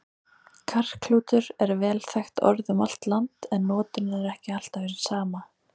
Karklútur er vel þekkt orð um allt land, en notkunin er ekki alltaf hin sama.